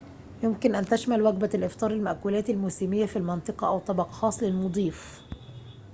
يمكن أن تشمل وجبة الإفطار المأكولات الموسمية في المنطقة أو طبق خاص للمضيف